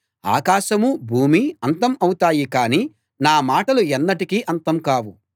ఆకాశమూ భూమీ అంతం అవుతాయి కానీ నా మాటలు ఎన్నటికీ అంతం కావు